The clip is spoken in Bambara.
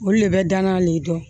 Olu le bɛ dann'a de ma